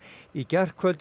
í gærkvöldi